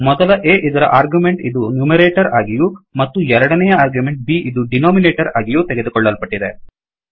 ಮೊದಲ Aಇದರ ಆರ್ಗ್ಯುಮೆಂಟ್ ಇದು ನ್ಯುಮೆರೆಟೊರ್ ಆಗಿಯೂ ಮತ್ತು ಎರಡನೆಯ ಆರ್ಗ್ಯುಮೆಂಟ್ B ಇದು ಡಿನೊಮಿನೇಟೊರ್ ಆಗಿಯೂ ತೆಗೆದುಕೊಳ್ಳಲ್ಪಟ್ಟಿದೆ